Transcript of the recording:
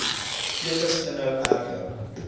fetus inhou erger